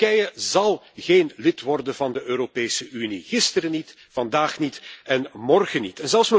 Turkije zal geen lid worden van de Europese Unie, gisteren niet, vandaag niet en morgen niet.